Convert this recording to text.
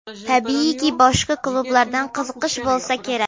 Tabiiyki, boshqa klublardan qiziqish bo‘lsa kerak?